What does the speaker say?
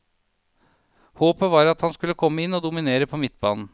Håpet var at han skulle komme inn og dominere på midtbanen.